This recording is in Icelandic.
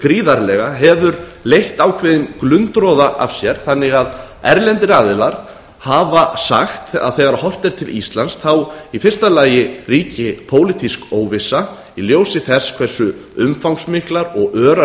gríðarlega hefur leitt ákveðinn glundroða af sér þannig að erlendir aðilar hafa sagt að þegar horft er til íslands þá í fyrsta lagi ríki pólitísk óvissa í ljósi þess hversu umfangsmiklar og örar